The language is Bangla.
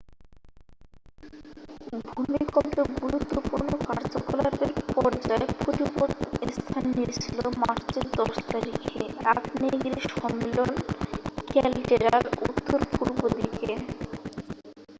ভূমিকম্পের গুরুত্বপূর্ণ কার্যকলাপের পর্যায় পরিবর্তন স্থান নিয়েছিল মার্চের 10 তারিখে আগ্নেয়গিরি সম্মেলন ক্যালডেরার উত্তর পূর্ব দিকে